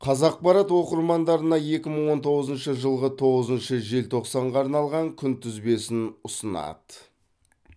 қазақпарат оқырмандарына екі мың он тоғызыншы жылғы тоғызыншы желтоқсанға арналған күнтізбесін ұсынады